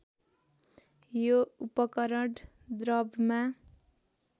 यो उपकरण द्रवमा